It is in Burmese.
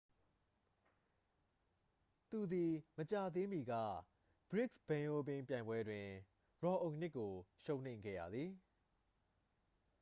သူသည် မကြာသေးမီက ဘရစ်စ်ဘိန်းအိုးပင်းပြိုင်ပွဲတွင် ရော်အိုနစ်ကို ရှုံးနိမ့်ခဲ့ရသည်